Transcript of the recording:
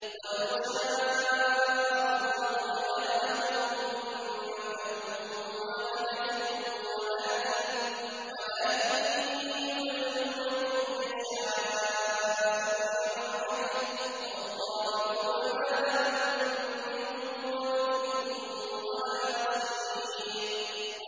وَلَوْ شَاءَ اللَّهُ لَجَعَلَهُمْ أُمَّةً وَاحِدَةً وَلَٰكِن يُدْخِلُ مَن يَشَاءُ فِي رَحْمَتِهِ ۚ وَالظَّالِمُونَ مَا لَهُم مِّن وَلِيٍّ وَلَا نَصِيرٍ